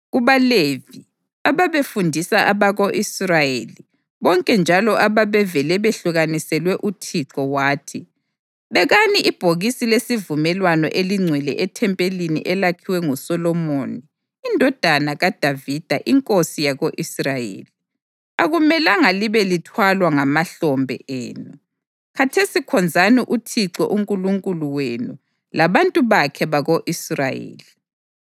KubaLevi, ababefundisa abako-Israyeli bonke njalo ababevele behlukaniselwe uThixo wathi: “Bekani ibhokisi lesivumelwano elingcwele ethempelini elakhiwa nguSolomoni indodana kaDavida inkosi yako-Israyeli. Akumelanga libe lithwalwa ngamahlombe enu. Khathesi khonzani uThixo uNkulunkulu wenu labantu bakhe bako-Israyeli.